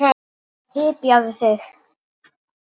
Hypjaðu þig.